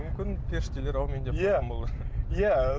мүмкін періштелер әумин деп қалған болар иә